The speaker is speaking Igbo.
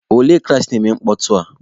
Olee klaasị na-eme mkpọtụ a?